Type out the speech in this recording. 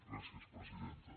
gràcies presidenta